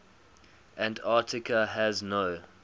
antarctica has no